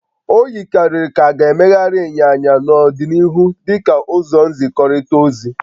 O yikarịrị ka a ga-emegharị ịnyịnya n'ọdịnihu dị ka ụzọ nzikọrịta ozi